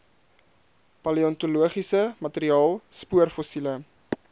paleontologiese materiaal spoorfossiele